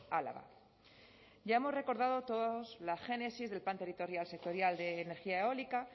álava ya hemos recordado todos la génesis del plan territorial sectorial de energía eólica